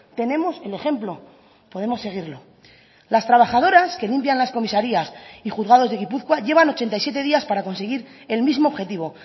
tenemos el ejemplo podemos seguirlo las trabajadoras que limpian las comisarías y juzgados de gipuzkoa llevan ochenta y siete días para conseguir el mismo objetivo